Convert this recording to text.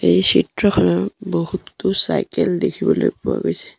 এই চিত্ৰখনৰ বহুতো চাইকেল দেখিবলৈ পোৱা গৈছে।